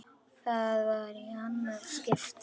Það var í annað skipti.